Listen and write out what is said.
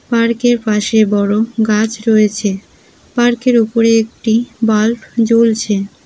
Park এর পাশে বড় গাছ রয়েছে পার্ক এর উপরে একটি বাল্ব জ্বলছে।